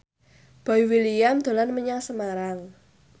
Boy William dolan menyang Semarang